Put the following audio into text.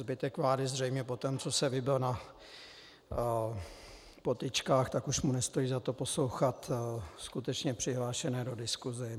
Zbytek vlády zřejmě poté, co se vybil na potyčkách, tak už mu nestojí za to poslouchat skutečně přihlášené do diskuse.